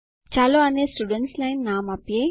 ચાલો આને students line નામ આપીએ